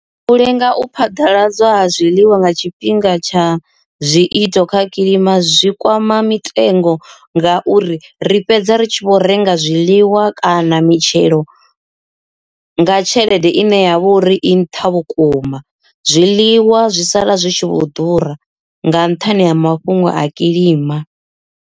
U lenga u phaḓaladzwa ha zwiḽiwa nga tshifhinga tsha zwiito kha kilima zwi kwama mitengo ngauri ri fhedza ri tshi vho renga zwiḽiwa kana mitengo mitshelo nga tshelede ine ya vha uri i nṱha vhukuma zwiḽiwa zwi sala zwi tshi vho ḓura nga nṱhani ha mafhungo a kilima.